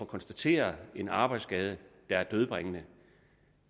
konstatere en arbejdsskade der er dødbringende